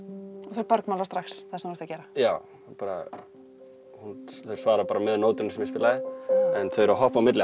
það bergmálar strax það sem þú ert að gera já þau svara bara með nótunni sem ég spilaði en þau eru að hoppa á milli